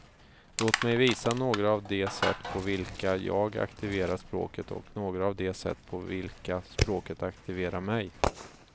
Låt mig visa några av de sätt på vilka jag aktiverar språket och några av de sätt på vilka språket aktiverar mig.